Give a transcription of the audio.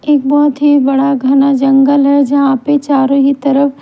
एक बहोत हि बड़ा घना जंगल है जहां पे चारों ही तरफ--